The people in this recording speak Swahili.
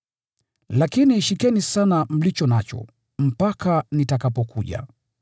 Lakini shikeni sana mlicho nacho, mpaka nitakapokuja.